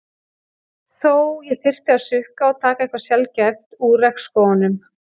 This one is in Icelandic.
Þó ég þyrfti að sukka og taka eitthvað sjaldgæft úr regnskógunum.